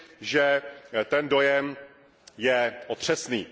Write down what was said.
že ten dojem je otřesný.